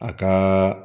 A ka